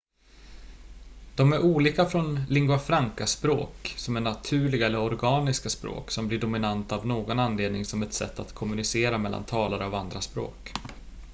de är olika från lingua franca-språk som är naturliga eller organiska språk som blir dominanta av någon anledning som ett sätt att kommunicera mellan talare av andra språk